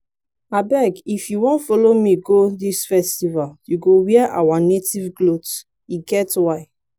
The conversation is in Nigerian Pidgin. abeg if you wan follow me go dis festival you go wear our native cloth e get why